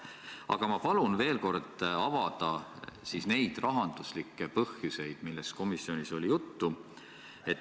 Aga ma palun veel kord avada need rahanduslikud põhjused, millest komisjonis oli juttu.